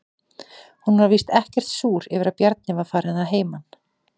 Hún var víst ekkert súr yfir að Bjarni var farinn að heiman.